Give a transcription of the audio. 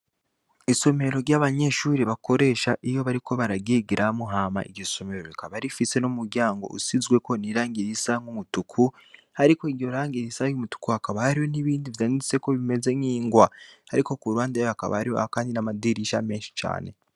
Isomero ry'abanyeshure bakoresha iyo bariko bararyigiramwo, hama iryo somero rikaba rifise n'umuryango usizemwo irangi risa nk'umutuku. Ariko iryo rangi risa n'umutuku hakaba hariho n'bindi vyanditseko bimeze nk'ingwa. Ariko ku ruhande hakaba hariyo kandi amadirisha menshi cane.